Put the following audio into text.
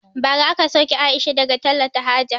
Bara aka sauke Aisha daga talata haja